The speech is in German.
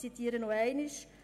ich zitiere erneut: